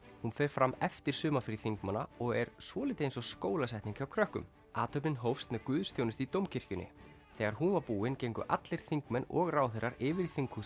hún fer fram eftir sumarfrí þingmanna og er svolítið eins og skólasetning hjá krökkum athöfnin hófst með guðsþjónustu í Dómkirkjunni þegar hún var búin gengu allir þingmenn og ráðherrar yfir í þinghúsið